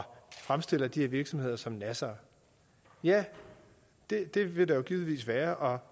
fremstille de her virksomheder som nassere ja det vil der givetvis være og